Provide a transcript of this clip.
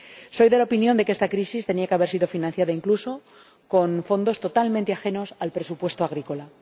Soy de la opinión de que esta crisis tenía que haber sido financiada incluso con fondos totalmente ajenos al presupuesto agrícola.